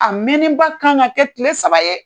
A mɛnnen ba kan ka kɛ tile saba ye.